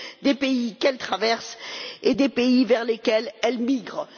des pays qu'elles traversent et des pays vers lesquels elles migrent.